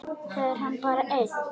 Fer hann bara einn?